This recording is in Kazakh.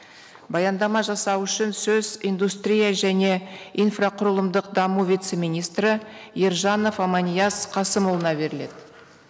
баяндама жасау үшін сөз индустрия және инфрақұрылымдық даму вице министрі ержанов аманияз қасымұлына беріледі